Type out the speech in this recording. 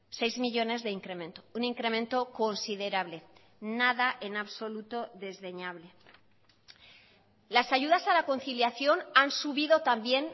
seis millónes de incremento un incremento considerable nada en absoluto desdeñable las ayudas a la conciliación han subido también